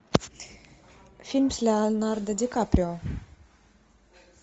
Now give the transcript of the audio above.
фильм с леонардо ди каприо